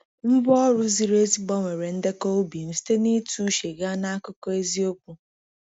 Ngwa ọrụ ziri ezi gbanwere ndekọ ubi m site na ịtụ uche gaa na akụkọ eziokwu.